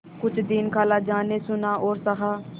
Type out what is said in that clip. कुछ दिन खालाजान ने सुना और सहा